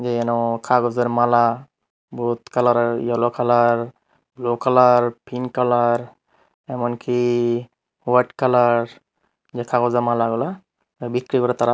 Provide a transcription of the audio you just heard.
যেন কাগজের মালা বহুত কালারের yellow colour blue colour pink colour এমনকি হোয়াইট কালার কাগজের মালা গুলা বিক্রি করে তারা।